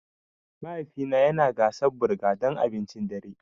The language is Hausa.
Mahaifina yana gasa burger don abincin dare.